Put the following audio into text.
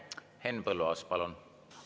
Henn Põlluaas, palun!